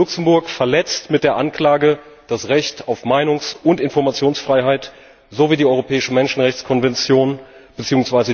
Luxemburg verletzt mit der Anklage das Recht auf Meinungs und Informationsfreiheit sowie die Europäische Menschenrechtskonvention bzw.